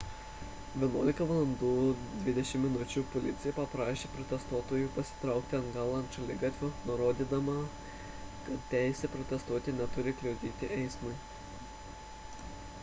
11:20 val policija paprašė protestuotojų pasitraukti atgal ant šaligatvio nurodydama kad teisė protestuoti neturi kliudyti eismui